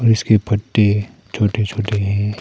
इसके पत्ते छोटे छोटे हैं।